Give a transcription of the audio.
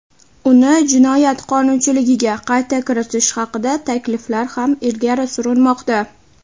uni jinoyat qonunchiligiga qayta kiritish haqida takliflar ham ilgari surilmoqda.